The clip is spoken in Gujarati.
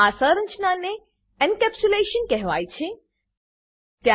આ સંરચનાને એન્કેપ્સ્યુલેશન એનકેપ્સુલેશન કહેવાય છે